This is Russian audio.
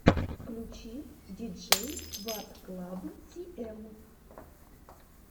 включи диджейсватклабтиэм